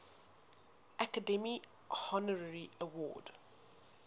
academy honorary award